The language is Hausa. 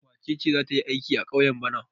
Wace ce za ta yi aiki a ƙauye bana?